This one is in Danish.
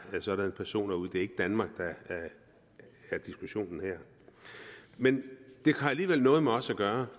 sådanne personer ud det er ikke danmark der er diskussionen her men det har alligevel noget med os at gøre